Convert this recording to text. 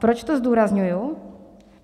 Proč to zdůrazňuji?